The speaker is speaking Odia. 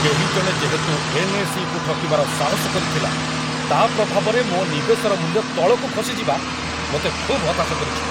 କେହି ଜଣେ ଯେହେତୁ ଏନ୍.ଏସ୍.ଇ.କୁ ଠକିବାର ସାହସ କରିଥିଲା, ତା' ପ୍ରଭାବରେ ମୋ ନିବେଶର ମୂଲ୍ୟ ତଳକୁ ଖସିଯିବା ମୋତେ ଖୁବ୍ ହତାଶ କରିଛି।